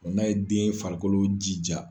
O n'a ye den farikolo jija.